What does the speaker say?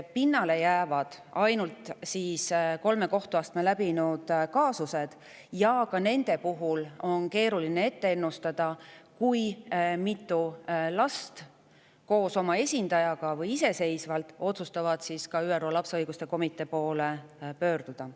Pinnale jäävad ainult kolm kohtuastet läbinud kaasused ja ka nende puhul on keeruline ennustada, kui mitu last koos oma esindajaga või iseseisvalt otsustavad ÜRO lapse õiguste komitee poole pöörduda.